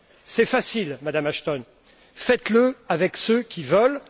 C'est facile, Madame Ashton, faites le avec ceux qui le veulent!